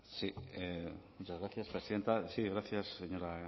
muchas gracias presidenta sí gracias señora